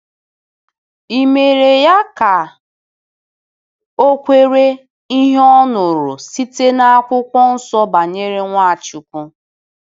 E “mere ya ka o kwere” ihe ọ nụrụ site na Akwụkwọ Nsọ banyere Nwachukwu.